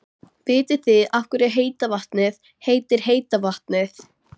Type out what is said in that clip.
Vitið þið af hverju heita vatnið heitir heita vatnið?